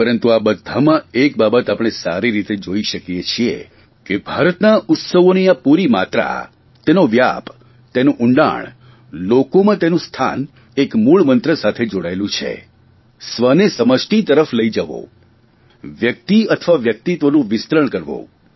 પરંતુ આ બધામાં એક બાબત આપણે સારી રીતે જોઇ શકીએ છીએ કે ભારતના ઉત્સવોની આ પૂરી માત્રા તેનો વ્યાપ તેનું ઊંડાણ લોકોમાં તેનું સ્થાન એક મૂળમંત્ર સાથે જોડાયેલું છે સ્વને સમષ્ટિ તરફ લઇ જવો વ્યકિત અથવા વ્યકિતત્વનું વિસ્તરણ કરવું